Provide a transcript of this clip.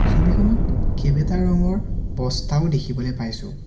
ছবিখনত কেইবাটা ৰঙৰ বস্তাও দেখিবলৈ পাইছোঁ।